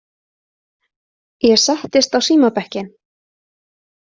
Ég settist á símabekkinn.